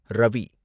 Ravi